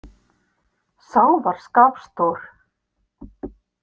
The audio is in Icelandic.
Sá var skapstór.